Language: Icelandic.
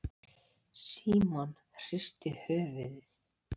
Símon hristi höfuðið.